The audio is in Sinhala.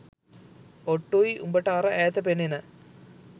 ඔට්ටුයි උඹට අර ඈත පෙනෙන